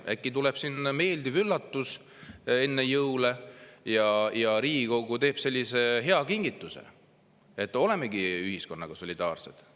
Äkki tuleb siin meeldiv üllatus enne jõule ja Riigikogu teeb sellise hea kingituse, et olemegi ühiskonnaga solidaarsed.